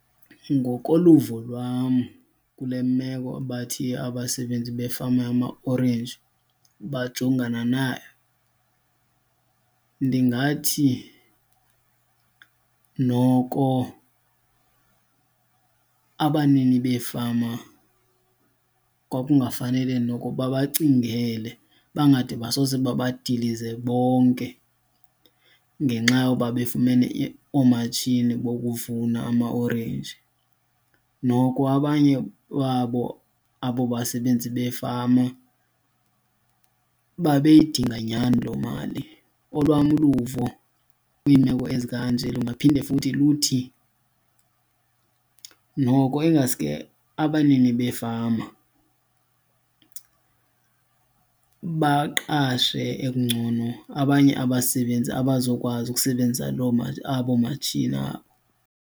Ngokoluvo lwam, kule meko bathi abasebenzi befama yamaorenji bajongana nayo, ndingathi noko abanini beefama kwakungafanele noko bacingele bangade basose babadilize bonke ngenxa yoba befumene oomatshini bokuvuna amaorenji. Noko abanye babo abo basebenzi befama babeyidinga nyani loo mali. Olwam uluvo kwiimeko ezikanje lingaphinde futhi luthi noko ingaske abanini beefama baqashe ekungcono abanye abasebenzi abazokwazi ukusebenzisa loo abo matshini abo.